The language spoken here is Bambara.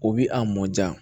O bi a mɔnja